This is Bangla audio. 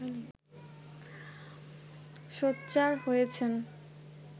সোচ্চার হয়েছেন